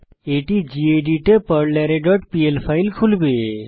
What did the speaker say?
এটি গেদিত এ পারলারে ডট পিএল ফাইল খুলবে